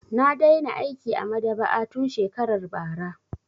Na daina aiki a maɗaba'a tun shekarar bara.